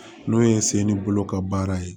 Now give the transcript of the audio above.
N'o ye n sen ni bolo ka baara ye